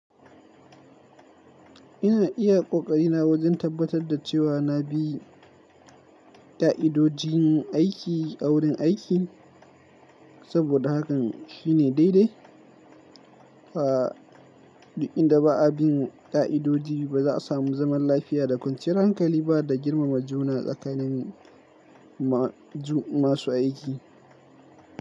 Ina iya kokari na wajen tabbatar da cewa na bi ka'idojin aiki a wurin aiki, saboda hakan shine daidai. Fa duk inda ba a bin ka'idoji ba, za a samu zaman lafiya da kwanciyar hankali ba da girmama juna tsakanin ma-ju-masu aiki.